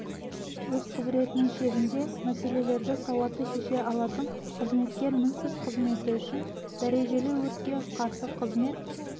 өз құзыретінің шегінде мәселелерді сауатты шеше алатын қызметкер мінсіз қызметі үшін дәрежелі өртке қарсы қызмет